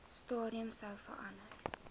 stadium sou verander